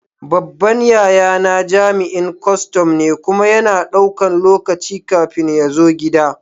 Babban yayana jami'in kustum ne, kuma yana ɗaukan lokaci kafin ya zo gida.